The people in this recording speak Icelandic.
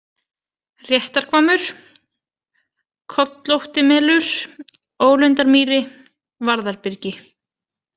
Réttarhvammur, Kollóttimelur, Ólundarmýri, Vaðarbyrgi